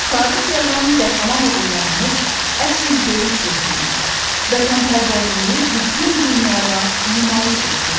Tarix yazan qəhrəman oğullarımız əsl döyüş ruhunu, vətənpərvərliyi bütün dünyaya nümayiş etdirdi.